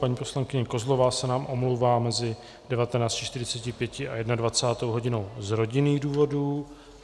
Paní poslankyně Kozlová se nám omlouvá mezi 19.45 a 21. hodinou z rodinných důvodů.